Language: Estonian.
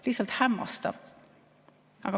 Lihtsalt hämmastav.